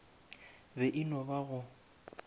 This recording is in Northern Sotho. be e no ba go